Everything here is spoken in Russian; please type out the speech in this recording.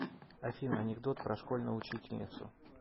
афина анекдот про школьную учительницу